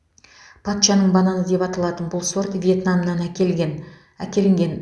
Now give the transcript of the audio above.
патшаның бананы деп аталатын бұл сорт вьетнамнан әкелген әкелінген